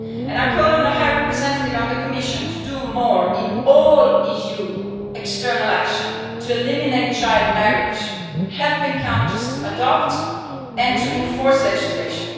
I call on the High Representative on the Commission to do more in all EU external action to eliminate child marriage by helping countries to adopt and to enforce legislation.